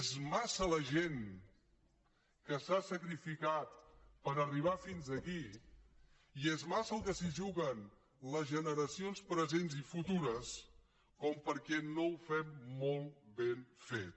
és massa la gent que s’ha sacrificat per arribar fins aquí i és massa el que s’hi juguen les generacions presents i futures perquè no ho fem molt ben fet